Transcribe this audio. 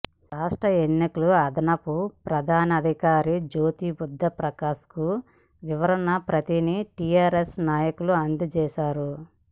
రాష్ట్ర ఎన్నికల అదనపు ప్రధానాధికారి జ్యోతిబుద్ధప్రకాశ్కు వివరణ ప్రతిని టీఆర్ఎస్ నాయకులు అందజేశారు